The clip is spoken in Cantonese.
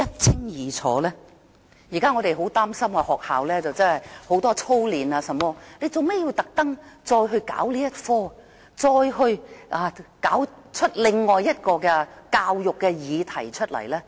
我們現在很擔心的一個課題，便是學校為學生進行過多操練，當局為何要再"搞"這個科目，"搞"出另一個教育議題？